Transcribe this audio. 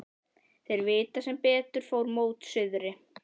Þeir vita sem betur fer mót suðri.